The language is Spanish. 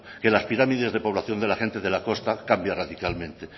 que las pirámides de población de la gente de la costa cambia radicalmente